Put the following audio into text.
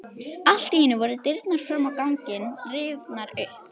Allt í einu voru dyrnar fram á ganginn rifnar upp.